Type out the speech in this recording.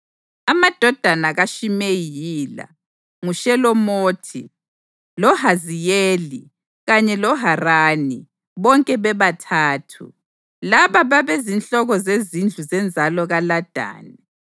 Amadodana kaShimeyi yila: nguShelomothi, loHaziyeli kanye loHarani, bonke bebathathu. Laba babezinhloko zezindlu zenzalo kaLadani.